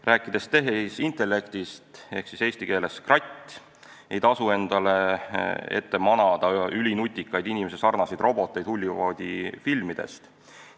Rääkides tehisintellektist ehk siis kratist, ei tasu endale silme ette manada ülinutikaid inimesesarnaseid roboteid Hollywoodi filmidest.